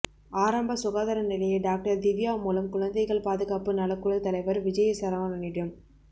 ஆரம்ப சுகாதார நிலைய டாக்டர் திவ்யா மூலம் குழந்தைகள் பாதுகாப்பு நலக்குழு தலைவர் விஜயசரவணனிடம்